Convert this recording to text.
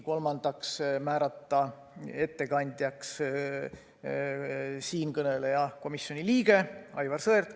Kolmandaks, määrata ettekandjaks siinkõneleja, komisjoni liige Aivar Sõerd.